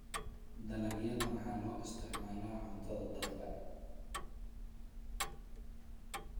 Dalagyada waxaa loo isticmaalaa cuntada dadka.